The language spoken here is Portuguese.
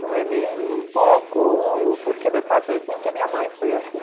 Não é nem um pouco porque meu pai foi assim ou porque minha mãe foi assim.